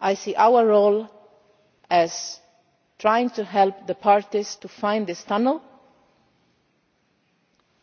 I see our role as trying to help the parties to find the tunnel